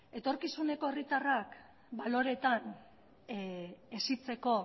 etorkizuneko herritarrak baloreetan hesitzeko